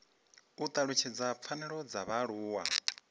u talutshedza pfanelo dza vhaaluwa